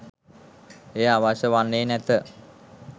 එය අවශ්‍ය වන්නේ නැත.